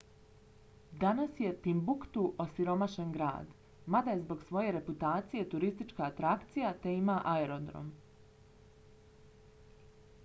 danas je timbuktu osiromašen grad mada je zbog svoje reputacije turistička atrakcija te ima aerodrom